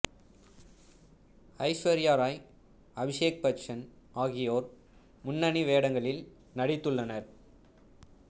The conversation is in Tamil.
ஐஸ்வர்யா ராய் அபிஷேக் பச்சன் ஆகியோர் முன்னணி வேடங்களில் நடித்துள்ளனர்